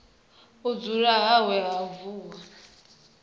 u dzama hawe ha vuwa